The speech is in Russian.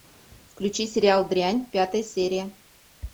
включи сериал дрянь пятая серия